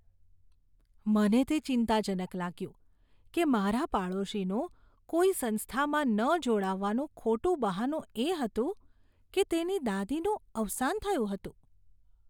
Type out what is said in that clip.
મને તે ચિંતાજનક લાગ્યું કે મારા પાડોશીનું કોઈ સંસ્થામાં ન જોડાવાનું ખોટું બહાનું એ હતું કે તેની દાદીનું અવસાન થયું હતું.